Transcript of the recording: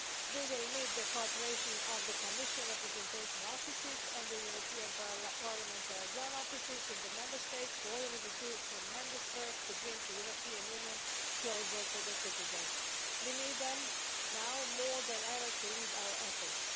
We will need the cooperation of the Commission representation offices and the European Parliament liaison offices in the Member States, who already do tremendous work to bring the European Union closer to its citizens. We need them, now more than ever, to lead our efforts.